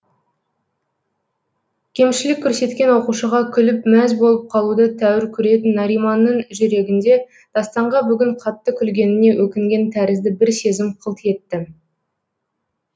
кемшілік көрсеткен оқушыға күліп мәз болып қалуды тәуір көретін нариманның жүрегінде дастанға бүгін қатты күлгеніне өкінген тәрізді бір сезім қылт етті